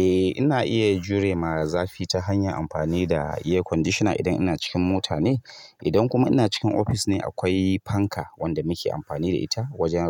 Eh ina iya jure maa zafi ta hanyar amfani da air conditioner idan ina cikin mota ne. Idan kuma ina cikin ofis ne, akwai fanka wanda muke amfani da ita wajen